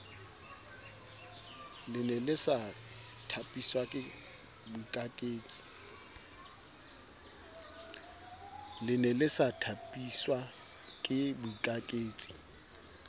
lene le sa thapiswake boikaketsi